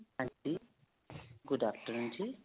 ਹਾਂਜੀ, good afternoon ਜੀ .